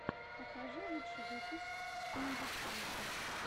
покажи лучший выпуск имбахантэ